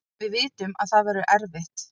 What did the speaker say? Við vitum að það verður erfitt